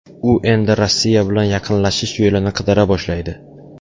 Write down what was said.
U endi Rossiya bilan yaqinlashish yo‘lini qidira boshlaydi.